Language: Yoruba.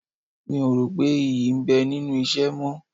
Mi ò rò pé ìyí ń bẹ nínú ìṣẹ́ mọ́